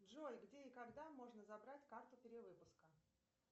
джой где и когда можно забрать карту перевыпуска